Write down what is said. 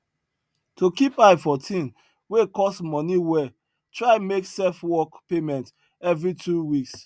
to keep eye for thing wey cost moni well try make self work payment every two weeks